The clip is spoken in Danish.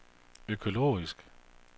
økologisk